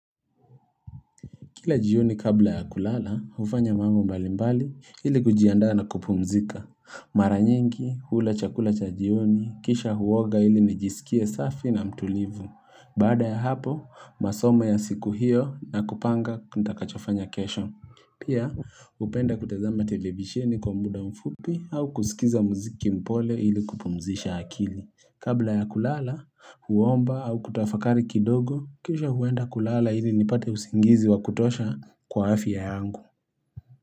Kila jioni kabla ya kulala hufanya mambo mbalimbali ili kujiandaa na kupumzika. Mara nyingi hula chakula cha jioni, kisha huoga ili nijisikie safi na mtulivu. Baada ya hapo masomo ya siku hiyo na kupanga nitakachofanya kesho. Pia hupenda kutazama televisheni kwa muda mfupi au kusikiza muziki mpole ili kupumzisha akili. Kabla ya kulala huomba au kutafakari kidogo kisha huenda kulala ili nipate usingizi wa kutosha kwa afya yangu.